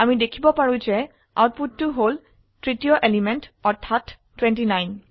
আমি দেখিব পাৰো যে আউটপুটতো হল তৃতীয় এলিমেন্ট অৰ্থাত 29